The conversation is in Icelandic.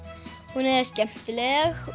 hún er skemmtileg